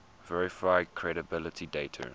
verify credibility dater